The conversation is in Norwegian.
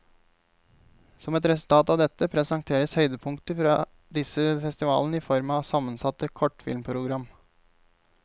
Som et resultat av dette, presenteres høydepunkter fra disse festivalene i form av sammensatte kortfilmprogram.